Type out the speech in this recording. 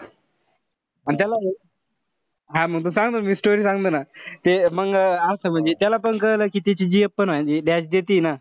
अन त्याला हा मी सांगतो ना मी story सांगतो ना. ते मंग असं म्हणजे त्याला पण कळलं कि त्याची gf पण आहे म्हणजे dash देतीये ना.